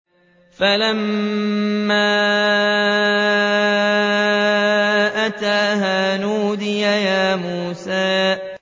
فَلَمَّا أَتَاهَا نُودِيَ يَا مُوسَىٰ